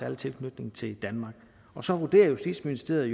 en tilknytning til danmark og så vurderer justitsministeriet